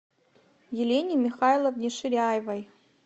елене михайловне ширяевой